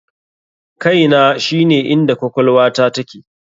KAINA shine inda kwakwalwata take.